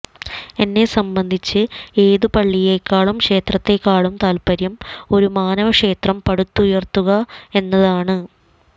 എന്നെ സംബന്ധിച്ച് ഏതു പള്ളിയെക്കാളും ക്ഷേത്രത്തെക്കാളും താൽപര്യം ഒരു മാനവക്ഷേത്രം പടുത്തുയർത്തുക എന്നതാണ്